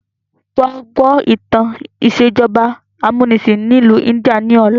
Wa gbọ́ ìtàn ìsèjọba amúnisìn ìlú India ni ọ̀la!